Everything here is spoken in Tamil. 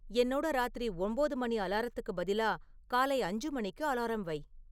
என்னோட ராத்திரி ஒம்போது மணி அலாரத்துக்கு பதிலா காலை அஞ்சு மணிக்கு அலாரம் வை